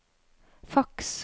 faks